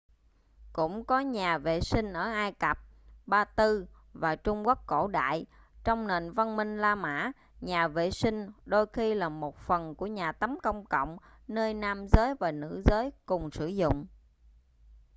cũng có nhà vệ sinh ở ai cập ba tư và trung quốc cổ đại trong nền văn minh la mã nhà vệ sinh đôi khi là một phần của nhà tắm công cộng nơi nam giới và nữ giới cùng sử dụng